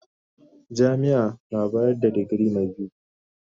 Jami'ar bayar da digiri na biyu.